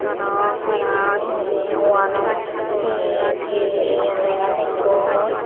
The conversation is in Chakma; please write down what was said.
aro tara he hoide wallot he piye lega lekkon.